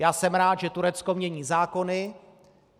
Já jsem rád, že Turecko mění zákony.